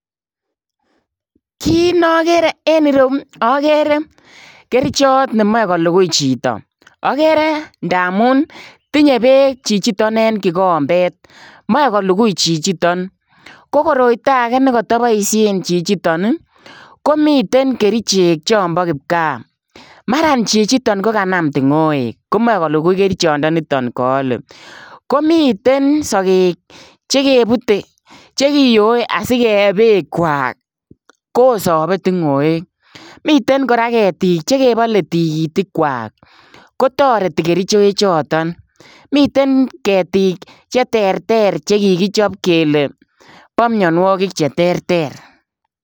Kit nagere en ireuu agere kerjaat memachei kolugui chitoo agere ndamuun tinye beek chichitoon en kikombeet machei kolugui chichitoon ko koroitoo agei nekatabaisheen chichitoon ii ko miten kericheek chaang bo kipkaa maraan chichitoon ko kanam tungoek ko mae kolugui kerchaat nitoon kaale ko miten sageek che kebutee chekiyoe asikeyee beek kwaak kosapee tingoek miten kora ketiik che kebale tikitiik kwaak kotaretii kercheek chotoon ago miten ketiik che terter chekikichaap kele bo mianwagik che terter.